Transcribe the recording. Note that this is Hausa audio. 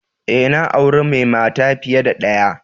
E, na aure mai mata fiye da ɗaya.